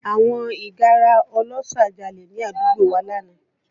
Àwọn ìgárá ọlọ́ṣà jalè ní àdúgbò wa lánàá